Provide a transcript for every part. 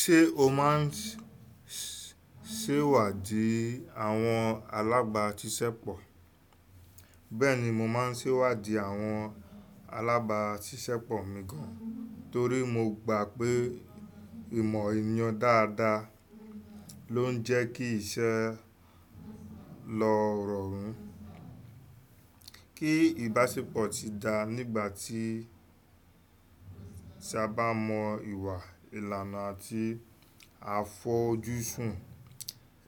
Ṣé o máa ń ṣèwádìí àwọn alabaṣiṣẹpọ? Bẹ́ẹ̀ni, mo máa ń ṣèwádìí àwọn alábàáṣiṣẹ́pọ̀ mi gan torí mo gbà pé ìmọ̀ ènìyàn dáadáa ló ń jẹ́ kí iṣẹ́ lọ rọrùn. Kí ìbáṣepọ̀ ti dáa nígbà tí tí a bá mọ ìwà, ìlànà àti àfójúsùn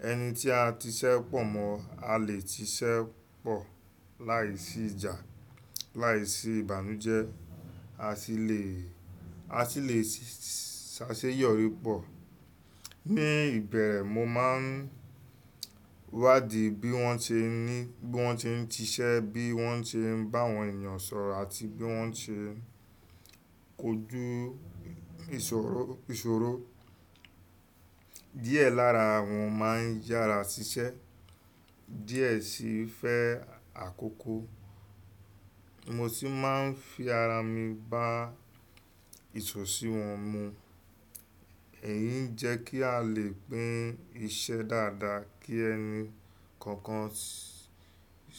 ẹni tí a ti ṣépọ̀ mọ̀, a lè ti ṣépọ̀ láìsí ìjà, láìsí ìbànújẹ́, a sì lè ṣaṣeyọrí pọ̀. Ní ìbẹ̀rẹ̀, mo máa ń wádìí bí wọ́n ṣe ń ti ṣẹ́, bí wọ́n ṣe ń bá àwọn ènìyàn sọ̀rọ̀ àti bí wọ́n ṣe ń kojú ìṣòro. Díẹ̀ lára wọn máa ń yára ṣiṣẹ́, díẹ̀ sì fẹ́ àkókò. Mo sì máa ń fi ara mi bá ìṣòro si wọn mu. Èyí ń jẹ́ kí a lè pín iṣẹ́ dáadáa kí ẹni kọ̀ọ̀kan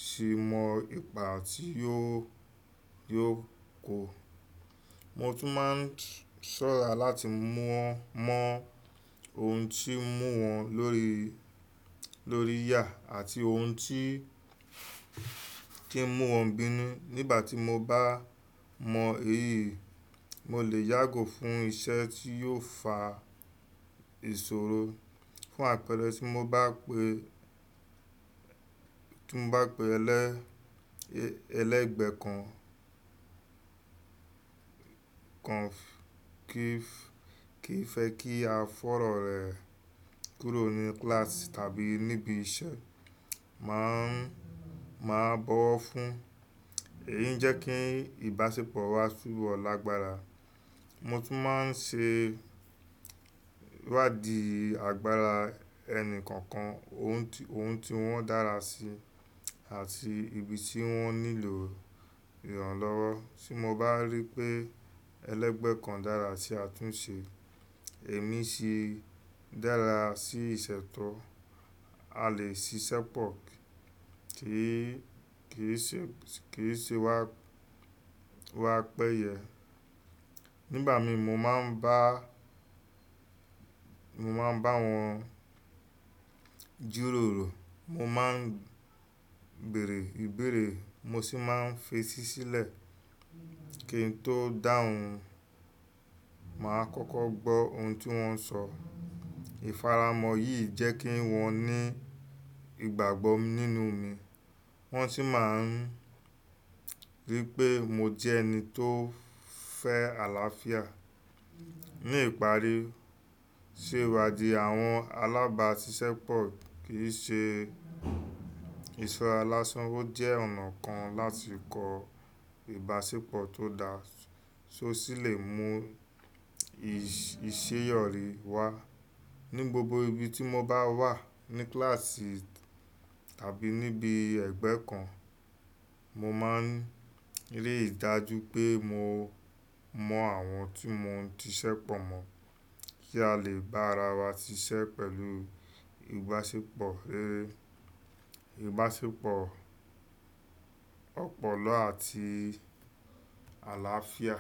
sì mọ ipa tí yóò kó. Mo tún máa ń ṣọ́ra láti mọ̀ wọ́n mọ ohun tí ń mú wọn lórí yà àti ohun tí ń mú wọn bínú. Nígbà tí mo bá mọ èyí, mo lè yàgò fún iṣẹ́ tí yóò fa ìṣòro. Fún àpẹẹrẹ, tí mo bá pe pé ẹlẹ́gbẹ̀ẹ́ kan kì í fẹ́ kí a fọ̀rọ̀ rẹ̀ kúrò ní kíláàsì tàbí níbi iṣẹ́, màá bọ̀wọ̀ fún un. Èyí ń jẹ́ kí ìbáṣepọ̀ wà túbọ̀ lágbára. Mo tún máa ń ṣe wádìí àgbára ẹni kọ̀ọ̀kan, ohun tí wọ́n dára sí àti ibi tí wọ́n nílò ìrànlọ́wọ́. Tí mo bá rí pé ẹlẹ́gbẹ̀ẹ́ kan dára sí àtúnṣe, èmi sì dára sí ìṣètọ́, a lè ṣiṣẹ́pọ̀ kí ìṣe wa péye. Nígbà mi mo máa ń bá wọn jíròrò, mo máa ń bèèrè ìbéèrè, mo sì máa ń fetí sílẹ̀ kí n tó dáhùn. Màá kọ́kọ́ gbọ́ ohun tí wọ́n ń sọ. Ìfaramọ́ yìí jẹ́ kí wọ́n ní ìgbàgbọ́ nínú mi, wọ́n sì máa ń rí i pé mo jẹ́ ẹni tó fẹ́ àlàáfíà. Ní ìparí, ṣèwádìí àwọn alágbàṣiṣẹ́pọ̀ kì í ṣe ìṣọrá lásán, ó jẹ́ ọ̀nà kan láti kọ ìbáṣepọ̀ tó dáa, tó sì lè mú ìṣeyọrí wá. Ní gbogbo ibi tí mo bá wà, ní kíláàsì tàbí níbi ẹgbẹ́ kan, mo máa ń rí i dájú pé mo mọ àwọn tí mo ti ṣépọ̀ mọ̀ kí a lè bá ara wa ṣiṣẹ́ pẹ̀lú ìbáṣepọ̀ ọ̀pọ̀lọ́ àti àlàáfíà.